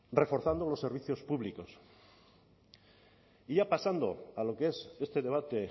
reforzando los servicios públicos y ya pasando a lo que es este debate